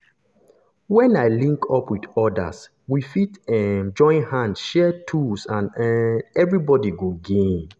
when i link up with others we fit um join hand share tools and um everybody go gain.